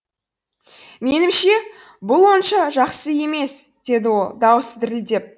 менімше бұл онша жақсы емес деді ол даусы дірілдеп